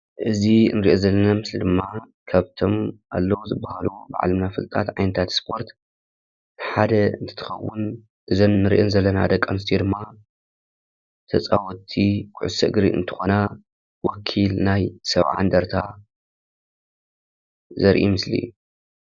እዚ እንርእዮ ዘለና ምስሊ ድማ ካብቶም ኣለው ዝበሃሉ ብዓለምና ፍሉጣት ዓይነታት ስፖርት ሓደ እንትከውን እዘን እንርእየን ዘለና ደቂ ኣነሰትዮ ድማ ተፃወቲ ኩዕሶ እግሪ እንትኮና ወኪል ናይ 70 እንደርታ ዘርኢ ምሰሊ እዩ።